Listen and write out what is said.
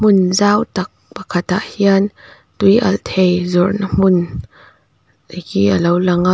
in zau tak pakhat ah hian tui alh thei zawrhna hmun te hi a lo lang a.